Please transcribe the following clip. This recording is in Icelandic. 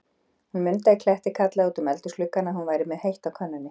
Hún Munda í Kletti kallaði út um eldhúsgluggann, að hún væri með heitt á könnunni.